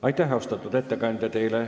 Aitäh, austatud ettekandja!